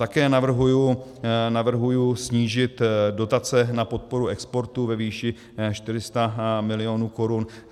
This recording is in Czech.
Také navrhuji snížit dotace na podporu exportu ve výši 400 milionů korun.